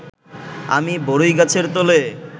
আমি বরই গাছের তলে